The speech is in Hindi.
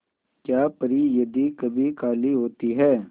क्या परी यदि कभी काली होती है